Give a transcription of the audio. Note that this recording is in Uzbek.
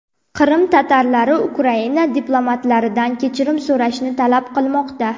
Qrim tatarlari Ukraina diplomatlaridan kechirim so‘rashni talab qilmoqda.